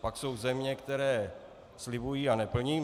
Pak jsou země, které slibují a neplní.